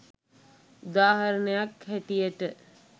උදාහරණයක් හැටියට